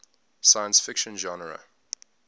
science fiction genre